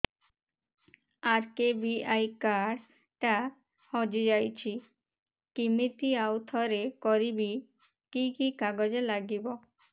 RKBY card ଟା ହଜିଯାଇଛି କିମିତି ଆଉଥରେ କରିବି କି କି କାଗଜ ଲାଗିବ